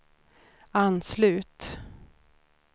anslut